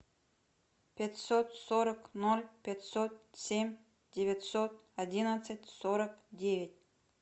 пятьсот сорок ноль пятьсот семь девятьсот одиннадцать сорок девять